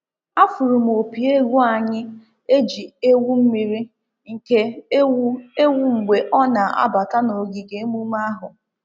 Afụụrụ m opi egwu anyị e ji ewu mmiri nke ewu ewu mgbe ọ na-abata n’ogige emume ahụ.